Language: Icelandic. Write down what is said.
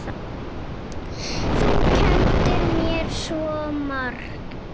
Þú kenndir mér svo margt.